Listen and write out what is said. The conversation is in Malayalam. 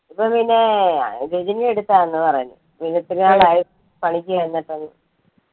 ഇപ്പം പിന്നെ രജനിയുടെ അടുത്താന്നു പറഞ്ഞു. ഒത്തിരി നാളായി പണിക്കു ചെന്നിട്ടെന്ന്.